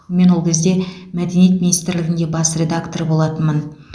мен ол кезде мәдениет министрлігінде бас редактор болатынмын